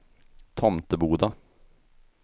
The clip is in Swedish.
Tomteboda